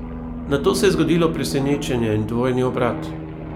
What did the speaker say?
Nato se je zgodilo presenečenje in dvojni obrat.